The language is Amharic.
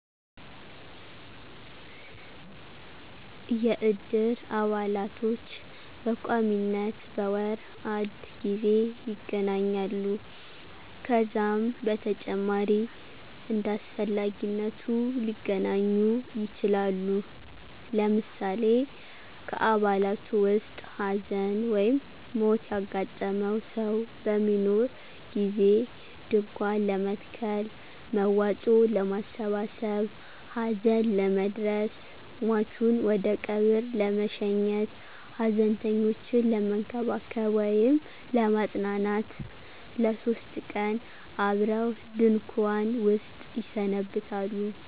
የእድር አባላቶች በቋሚነት በወር አድ ጊዜ ይገናኛሉ። ከዛም በተጨማሪ እንዳስፈላጊነቱ ሊገናኙ ይችላሉ። ለምሳሌ ከአባላቱ ዉስጥ ሀዘን/ሞት ያጋጠመው ሰው በሚኖር ጊዜ ድንኳን ለመትከል፣ መዋጮ ለማሠባሠብ፣ ሀዘን ለመድረስ፣ ሟቹን ወደቀብር ለመሸኘት፣ ሀዘንተኞችን ለመንከባከብ /ለማጽናናት ለሶስት ቀን አብረው ድንኩዋን ዉስጥ ይሰነብታሉ።